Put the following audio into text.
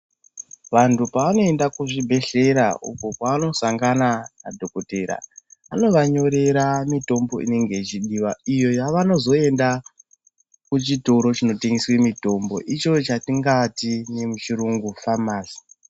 Vantu pavanoenda kuzvibhedhlera uko kwavanosangana nadhokodheya vanovanyorera mitombo inenge ichidiwa. Iyo yavanozoenda kuchitoro chinotengesa mitombo icho chatingati nemuchirungu famasi.